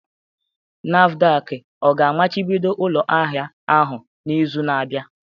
NAFDAC ga-amachibido ụlọ ahịa ahụ n'izu na-abịa?